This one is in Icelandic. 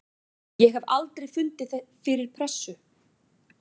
Ég hef aldrei fundið fyrir pressu.